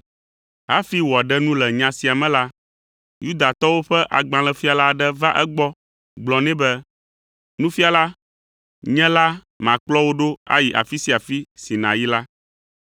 Hafi wòaɖe nu le nya sia me la, Yudatɔwo ƒe agbalẽfiala aɖe va egbɔ gblɔ nɛ be, “Nufiala, nye la, makplɔ wò ɖo ayi afi sia afi si nàyi la.”